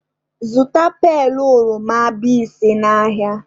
Zụta pailu oroma bise n'ahịa!